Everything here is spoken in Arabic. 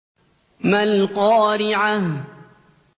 مَا الْقَارِعَةُ